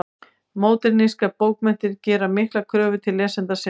Módernískar bókmenntir gera miklar kröfur til lesenda sinna.